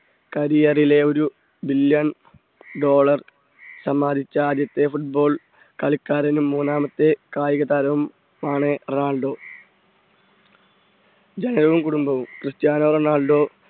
career ലെ ഒരു Billion Dollar സമ്പാദിച്ച ആദ്യത്തെ football കളിക്കാരനും മൂന്നാമത്തെ കായിക താരവും ആണ് റൊണാൾഡോ. ജനനവും കുടുംബവും ക്രിസ്റ്റ്യാനോറൊണാൾഡോ